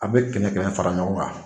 A bɛ kɛmɛ kɛmɛ fara ɲɔgɔn kan.